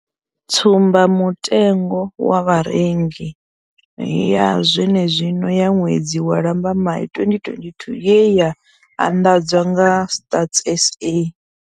Tsumbamutengo wa Vharengi ya zwenezwino ya ṅwedzi wa Lambamai 2022 ye ya anḓadzwa nga Stats SA.